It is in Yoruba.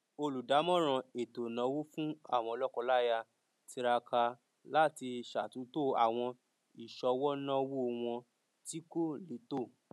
olùdámọràn ètò ìnáwó fún àwọn lọkọláya tiraka láti ṣàtúntò àwọn ìṣọwọ náwó wọn tí kò létò